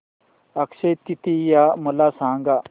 अक्षय तृतीया मला सांगा